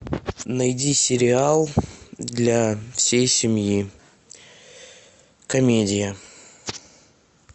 найди сериал для всей семьи комедия